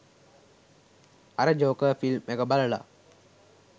අර Joker film එක බලලා